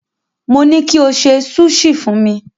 Mo ní kí o ṣe súṣì fún mi.